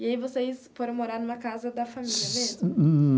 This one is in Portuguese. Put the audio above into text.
E aí vocês foram morar numa casa da família mesmo?